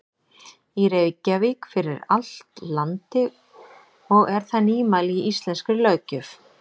í Reykjavík, fyrir allt landi og er það nýmæli í íslenskri löggjöf.